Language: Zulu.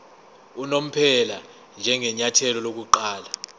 unomphela njengenyathelo lokuqala